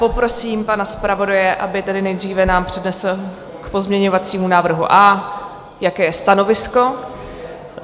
Poprosím pana zpravodaje, aby tedy nejdříve nám přednesl k pozměňovacímu návrhu A, jaké je stanovisko.